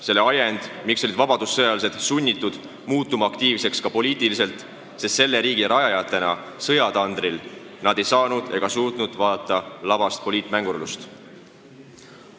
See oli ajend, miks olid vabadussõjalased sunnitud muutuma aktiivseks ka poliitiliselt – selle riigi rajajatena sõjatandril ei saanud ega suutnud nad pealt vaadata labast poliitmängurlust.